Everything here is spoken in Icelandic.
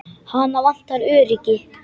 Hana vantar öryggi.